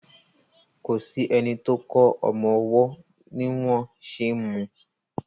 kọ sí ẹní tó kò ọmọ ọwó ní wón ṣe mú.